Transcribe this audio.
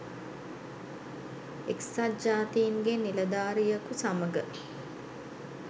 එක්සත් ජාතීන්ගේ නිලධාරියකු සමඟ